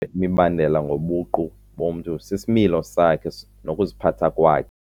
imibandela ngobuqu bomntu sisimilo sakhe nokuziphatha kwakhe.